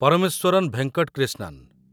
Parameswaran Venkat Krishnan